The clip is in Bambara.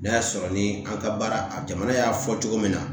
N'a y'a sɔrɔ ni an ka baara a jamana y'a fɔ cogo min na